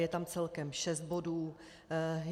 Je tam celkem šest bodů.